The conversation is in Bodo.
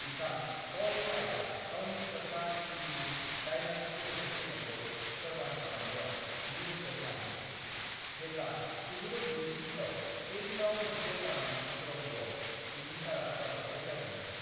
बिथां अल फायदआ गावनि फिसाज्ला इडिनि डायनाजों लोगोसे थैनायखौ खालामनायाव 10 बोसोर नाङो, जेब्ला 1997 याव पेरिसआव मोनसे लामानि सुरंगआव बिनि कारा जाब्रबथाइ जादोंमोन।